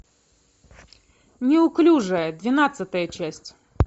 неуклюжая двенадцатая часть